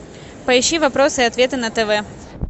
поищи вопросы и ответы на тв